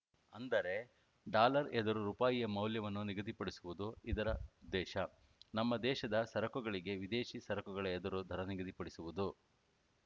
ಅಂದರೆ ಡಾಲರ್‌ ಎದುರು ರುಪಾಯಿ ಮೌಲ್ಯವನ್ನು ನಿಗದಿಪಡಿಸುವುದು ಇದರ ಉದ್ದೇಶ ನಮ್ಮ ದೇಶದ ಸರಕುಗಳಿಗೆ ವಿದೇಶಿ ಸರಕುಗಳ ಎದುರು ದರ ನಿಗದಿಪಡಿಸುವುದು